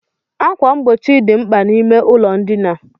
Ákwà mgbochi dị mkpa n'ime ụlọ ndina.